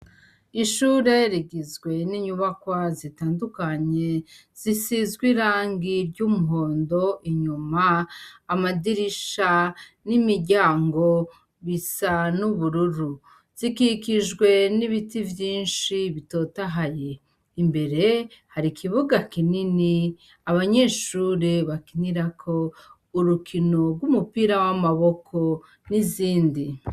Ishure rigizwe n' inyubakwa zitandukanye, zisizw' irangi ry' umuhondo, inyum' amadirisha n' imiryango bisa n' ubururu, zikikijwe n' ibiti vyinshi bitotahaye, imbere har' ikibuga kinini, abanyeshure bakinirak' urukino rw' umupira w' amaboko n' izindi...